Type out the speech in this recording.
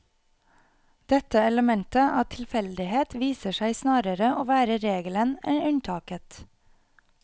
Dette elementet av tilfeldighet viser seg snarere å være regelen enn unntaket.